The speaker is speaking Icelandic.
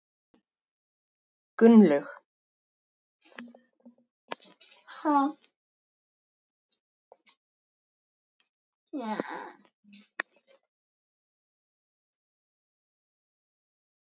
Gunnlaug